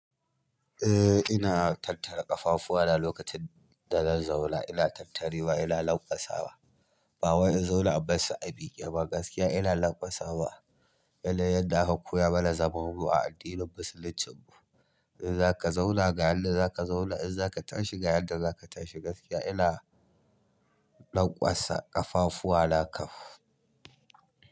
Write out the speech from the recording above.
Eh ina tattara ƙafafuwa na lokacin da zan zauna ina tattarewa ina lanƙasawa. Ba wai in zauna in bassu a mike ba gaskiya ina lankwasawa. Yanayin yadda aka koya mana zamanmu a addinin musuluncin mu in zaka zauna ga yanda zaka zauna in zaka tashi ga yanda zaka tashi gaskiya ina lanƙwasa ƙafafuwa na kaf.